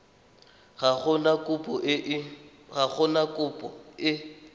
ga go na kopo e